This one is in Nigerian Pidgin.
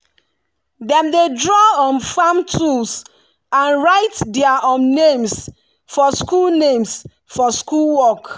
dem dey draw um farm tools and write their um names for school names for school work.